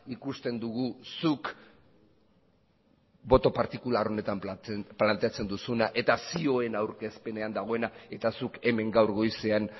ikusten dugu zuk boto partikular honetan planteatzen duzuna eta zioen aurkezpenean dagoena eta zuk hemen gaur goizean